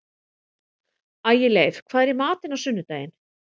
Ægileif, hvað er í matinn á sunnudaginn?